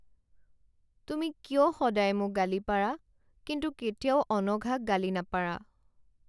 তুমি কিয় সদায় মোক গালি পাৰা কিন্তু কেতিয়াও অনঘাক গালি নাপাৰা?